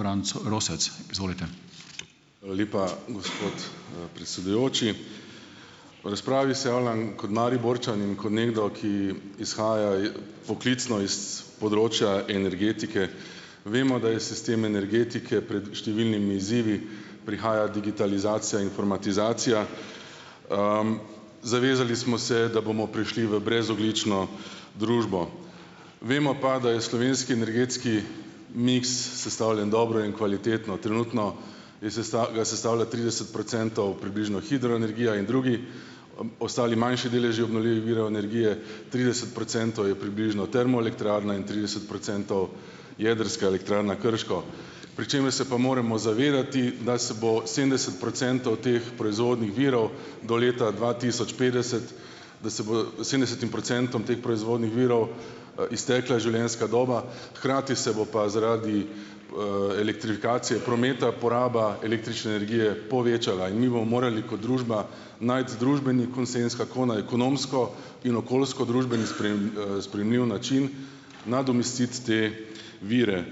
Franc Rosec, izvolite. Lepa, gospod predsedujoči. V razpravi se javljam kot Mariborčan in kot nekdo, ki izhaja poklicno iz področja energetike, vemo, da je sistem energetike pred številnimi izzivi, prihaja digitalizacija, informatizacija, zavezali smo se, da bomo prišli v brezogljično družbo, vemo pa, da je slovenski energetski miks sestavljen dobro in kvalitetno, trenutno je ga sestavlja trideset procentov približno hidroenergija in drugi ostali manjši deleži obnovljivih virov energije, trideset procentov je približno termoelektrarne in trideset procentov Jedrska elektrarna Krško, pri čemer se pa moramo zavedati, da se bo sedemdeset teh proizvodnih virov do leta dva tisoč petdeset, da se bo sedemdesetim procentom teh proizvodnih virov, iztekla življenjska doba, hkrati se bo pa zaradi, elektrifikacije prometa poraba električne energije povečala in mi bomo morali kot družba najti družbeni konsenz, kako na ekonomsko in okoljsko družbeni sprejemljiv način nadomestiti te vire,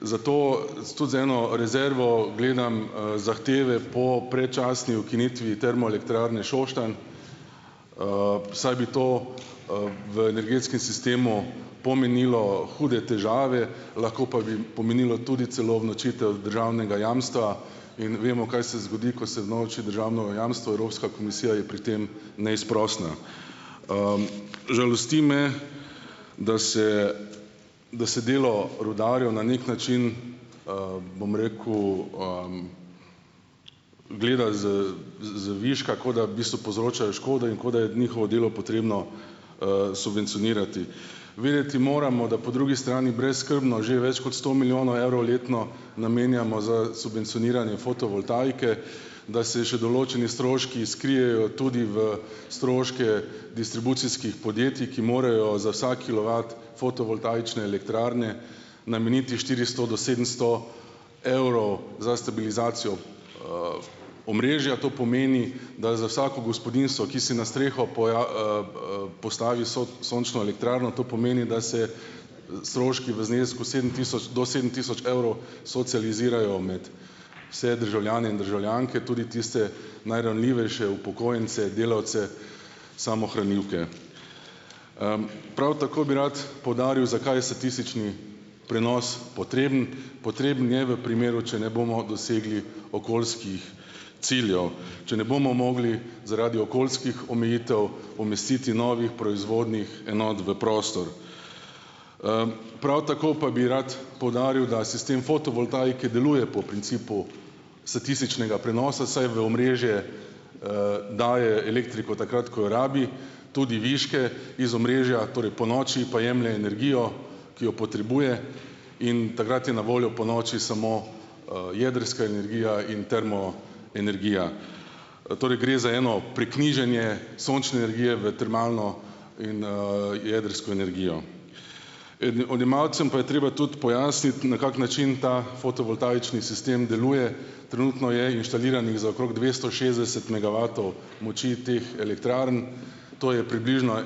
zato zato z eno rezervo gledam, zahteve po predčasni ukinitvi Termoelektrarne Šoštanj, saj bi to, v energetskem sistemu pomenilo hude težave, lahko pa bi pomenilo tudi celo unovčitev državnega jamstva in vemo, kaj se zgodi, ko se unovči državno jamstvo, Evropska komisija je pri tem neizprosna, žalosti me, da se, da se delo rudarjev na neki način, bom rekel, gleda z z z viška, kot da bistvu povzročajo škodo in kot da je njihovo delo potrebno, subvencionirati, vedeti moramo, da po drugi strani brezskrbno že več kot sto milijonov evrov letno namenjamo za subvencioniranje fotovoltaike, da se še določeni stroški skrijejo tudi v stroške distribucijskih podjetij, ki morajo za vsak kilovat fotovoltaične elektrarne nameniti štiristo do sedemsto evrov za stabilizacijo, omrežja, to pomeni, da za vsako gospodinjstvo, ki si na streho poslali sončno elektrarno, to pomeni da se stroški v znesku sedem tisoč do sedem tisoč evrov socializirajo med vse državljane in državljanke, tudi tiste najranljivejše upokojence, delavce, samohranilke, Prav tako bi rad poudaril, zakaj statistični prenos potreben, potreben je v primeru, če ne bomo dosegli okoljskih ciljev, če ne bomo mogli zaradi okoljskih omejitev umestiti novih proizvodnih enot v prostor, prav tako pa bi rad poudaril, da sistem fotovoltaike deluje po principu statističnega prenosa, saj v omrežje, daje elektriko takrat, ko jo rabi, tudi viške iz omrežja, torej ponoči pa jemlje energijo, ki jo potrebuje, in takrat je na voljo ponoči samo, jedrska energija in termo energija, torej gre za eno priknjiženje sončne energije v termalno in, jedrsko energijo. In odjemalcem pa je treba tudi pojasniti, na kak način ta fotovoltaični sistem deluje, trenutno je inštaliranih za okrog dvesto šestdeset megavatov moči teh elektrarn, to je približno,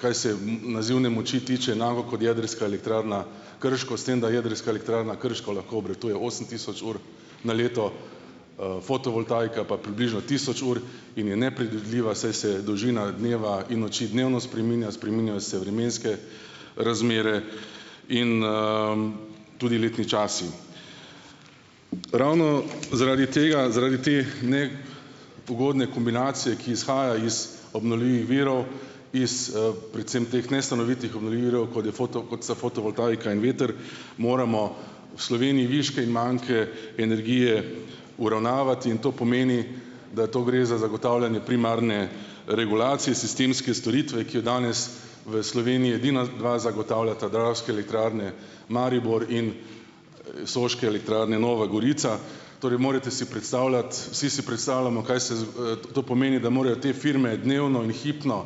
kaj se nazivne moči tiče enako, kot Jedrska elektrarna Krško, s tem da Jedrska elektrarna Krško lahko obratuje osem tisoč ur na leto, fotovoltaika pa približno tisoč ur in je nepredvidljiva, saj se dolžina dneva in noči dnevno spreminja, spreminjajo se vremenske razmere in, tudi letni časi, ravno zaradi tega, zaradi teh dne pogodne kombinacije, ki izhaja iz obnovljivih virov, iz, predvsem teh nestanovitnih obnovljivih virov, kot je foto, kot sta fotovoltaika in veter, moramo v Sloveniji viške in manke energije uravnavati, in to pomeni, da to gre za zagotavljanje primarne regulacije sistemske storitve, ki jo danes v Sloveniji edina dva zagotavljata Dravske elektrarne Maribor in Soške elektrarne Nova Gorica, torej morete si predstavljati, vsi si predstavljamo, kaj se to pomeni, da morajo te firme dnevno in hipno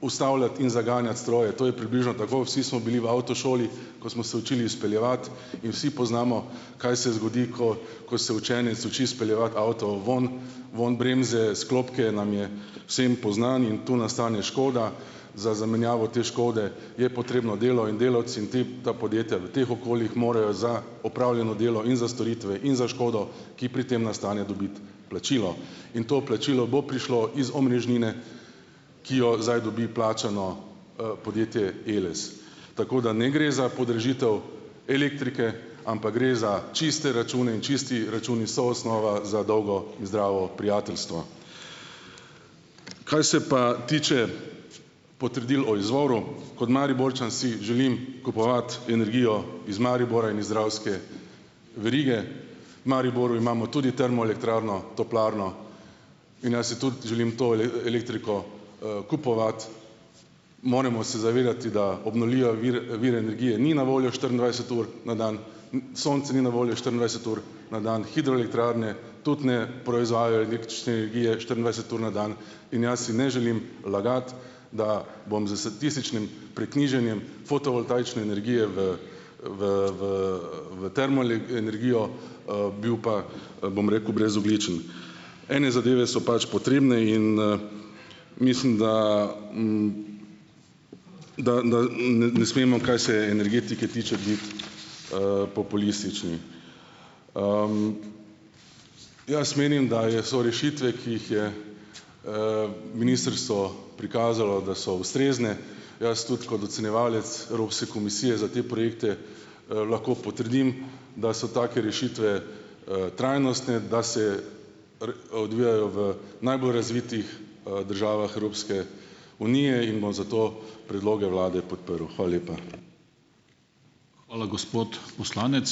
ustavljati in zaganjati stroje, to je približno tako, vsi smo bili v avtošoli, ko smo se učili speljevati, in vsi poznamo, kaj se zgodi, ko ko se učenec uči speljevati avto ven, vun bremze, sklopke, nam je vsem poznano, in to nastane škoda, za zamenjavo te škode je potrebno delo in delavci tip, da podjetja v teh okoljih morajo za opravljeno delo in za storitve in za škodo, ki pri tem nastane, dobiti plačilo in to plačilo bo prišlo iz omrežnine, ki jo zdaj dobi plačano, podjetje Eles, tako da ne gre za podražitev elektrike, ampak gre za čiste račune in čisti računi so osnova za dolgo zdravo prijateljstvo, kaj se pa tiče potrdil o izvoru, kot Mariborčan si želim kupovati energijo iz Maribora in iz Dravske verige, v Mariboru imamo tudi termoelektrarno, toplarno, in ja, si tudi želim to elektriko, kupovati, moremo se zavedati, da obnovljive vire, vire energije ni na voljo štiriindvajset ur na dan, sonce ni na voljo štiriindvajset ur na dan, hidroelektrarne tudi ne proizvajajo električne energije štiriindvajset ur na dan, in jaz si ne želim lagati, da bom za statističnim priknjiženjem fotovoltaične energije v v v v v energijo, bil pa, bom rekel, brezogljičen in zadeve so pač potrebne in, mislim, da, da da ne smemo, kaj se energetike tiče, biti, populistični, jaz menim, da je, so rešitve, ki jih je, ministrstvo prikazalo, da so ustrezne, jaz tudi kot ocenjevalec Evropske komisije za te projekte, lahko potrdim, da so take rešitve, trajnostne, da se odvijajo v najbolj razvitih, državah Evropske unije in bom zato predloge vlade podprl. Hvala lepa. Hvala, gospod poslanec.